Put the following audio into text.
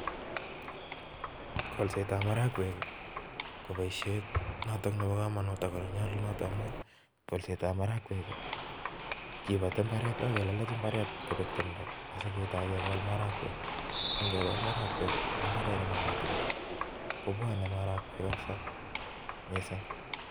golsettab marakwek ko boisiet noto nebo kamanut ago ne nyalunat amu golsetab marakwek kibati mbaret agelelech mbaret kobek tumdo asigetai gegol marakwek gongegol marakwek eng imbaret ne mami tumdo kobwane marakwek kapsa